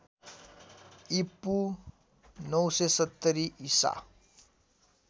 ईपू ९७० ईसा